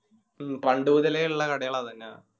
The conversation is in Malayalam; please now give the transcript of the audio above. മ്മ് പണ്ട് മുതലേ ഇള്ള കടകളാ അതൊക്കെ